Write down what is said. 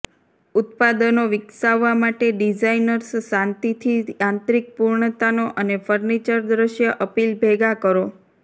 ઉત્પાદનો વિકસાવવા માટે ડિઝાઇનર્સ શાંતિથી આંતરિક પૂર્ણતાનો અને ફર્નિચર દ્રશ્ય અપીલ ભેગા કરો